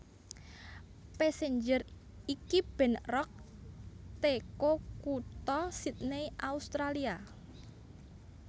Passenger iki band rock teko kutha Sidney Australia